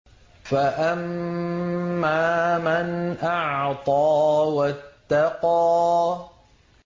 فَأَمَّا مَنْ أَعْطَىٰ وَاتَّقَىٰ